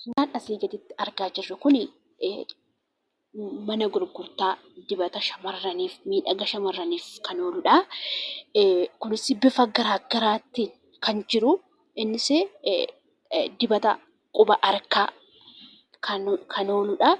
Suuraan asii gaditti argaa jirru kuni mana gurgurtaa dibata Shamarrani fi miidhagina Shamarraniif kan ooludha. Kunis bifa garagaraatiin kan jirudha. Innis dibata quba harkaaf kan ooludha.